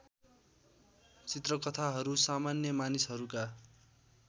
चित्रकथाहरू सामान्य मानिसहरूका